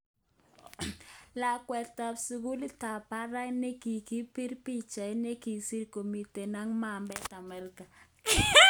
Lakwet ab sukulit tab barak nekikibir pichait nekisir komiten ak mambet America